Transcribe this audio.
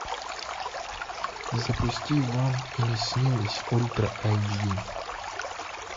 запусти вам и не снилось ультра айч ди